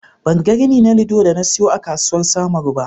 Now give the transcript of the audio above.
Ban ga rini na lido da na siyo a kasuwar samaru ba.